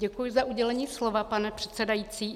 Děkuji za udělení slova, pane předsedající.